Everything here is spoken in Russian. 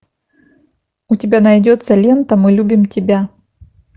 у тебя найдется лента мы любим тебя